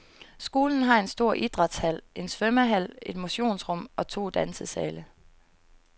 Skolen har en stor idrætshal, en svømmehal, et motionsrum og to dansesale.